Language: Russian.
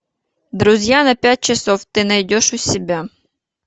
друзья на пять часов ты найдешь у себя